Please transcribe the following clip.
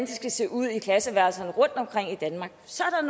skal se ud i klasseværelserne rundtomkring i danmark så er